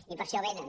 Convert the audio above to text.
i per això venen